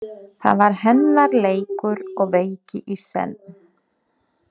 Það var hennar leikur og veiki í senn.